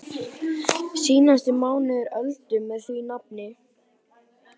Síðasti mánuður Öldu með því nafni.